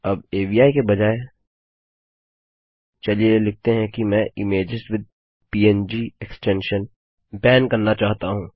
अब अवि के बजाय चलिए लिखते हैं कि मैं इमेजेस विथ पंग एक्सटेंशन बैनप्रतिबंध करना चाहता हूँ